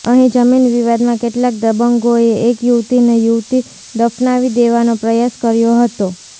અહી જમીન વિવાદમાં કેટલાક દબંગોએ એક યુવતીને જીવતી દફનાવી દેવાનો પ્રયાસ કર્યો હતો